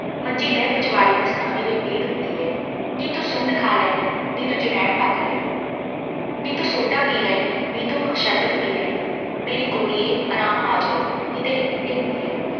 ਮੰਜ਼ੀ ਲੈ ਪਿਛਵਾੜੇ ਨੱਸਾਂ, ਮੇਰੇ ਪੀੜ੍ਹ ਹੁੰਦੀ ਹੈ, ਨੀ ਤੂੰ ਸੁੰਢ ਖਾ ਲੈ ਲੈ, ਨੀ ਤੂੰ ਅੰਜ਼ਵਾਇਣ ਫੱਕ ਲੈ, ਨੀ ਤੂੰ ਸੋਡਾ ਪੀ ਲੈ ਨੀ, ਨੀ ਤੂੰ ਸ਼ਰਬਤ ਪੀ ਲੈ, ਮੇਰੀ ਗੋਰੀਏ ਆਂਰਾਮ ਆ ਜਾਊ, ਨੀ ਤੇਰੇ ਕਿੱਥੇ ਹੁੰਦੀ ਹੈ।